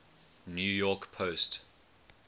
new york post